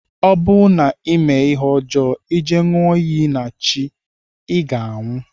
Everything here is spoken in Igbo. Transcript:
Ọ bụ na ime ihe ọjọ ije nyụọ iyi na chi iga anwụ.